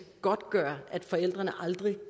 godtgøre at forældrene aldrig